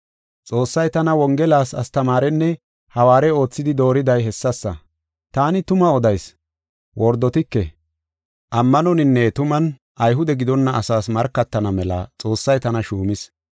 Xoossay tana Wongelas astamaarenne hawaare oothidi dooriday hessasa. Taani tuma odayis; wordotike; ammanoninne tuman Ayhude gidonna asaas markatana mela Xoossay tana shuumis.